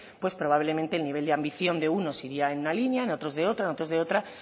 pues probablemente el nivel de ambición de unos iría en una línea en otros de otra en otros de otra